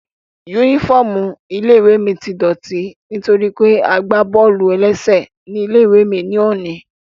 Yúnífọ́ọ̀mù ilé-ìwé mi tí dọ̀ọ̀tí nítorí pé a gbá bọ́ọ̀lù-ẹlẹ́sẹ̀ ní ilé-ìwé ní òní